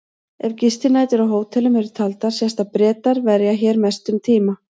Ef gistinætur á hótelum eru taldar sést að Bretar verja hér mestum tíma.